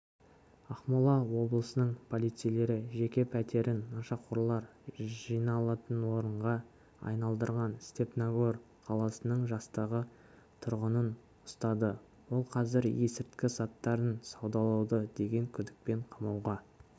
ақмола облысының полицейлері жеке пәтерін нашақорлар жиналатынорынға айналдырған степногор қаласының жастағы тұрғынын ұстады ол қазір ескірті заттарын саудалады деген күдікпен қамауға